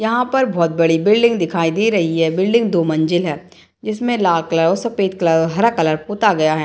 यहाँ पर बहुत बड़ी बिल्डिंग दिखाई दे रही है बिल्डिंग दो मंजिल है जिसमे लाल कलर सफेद कलर और हरा कलर पोता गया है ।